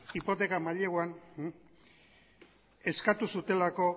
hipoteka maileguan eskatu zutelako